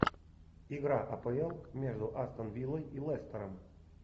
игра апл между астон виллой и лестером